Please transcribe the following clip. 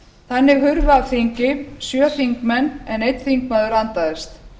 þannig hurfu af þingi sjö þingmenn en einn þingmaður andaðist